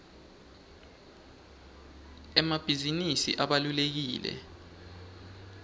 emabhizinisi abalulekile